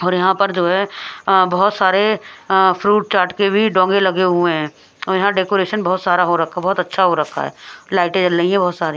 और यहां पर जो है अ बहुत सारे अ फ्रूट चाट के भी डोंगे लगे हुए हैं और यहां डेकोरेशन बहुत सारा हो रखा बहुत अच्छा हो रखा है लाइटें जल रही है बहुत सारी--